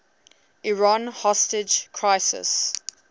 iran hostage crisis